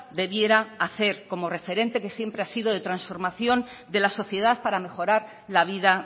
debiera hacer como referente que siempre ha sido de transformación de la sociedad para mejorar la vida